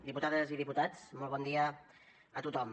diputades i diputats molt bon dia a tothom